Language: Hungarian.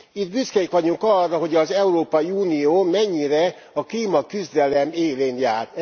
Itt büszkék vagyunk arra, hogy az Európai Unió mennyire a klímaküzdelem élén jár.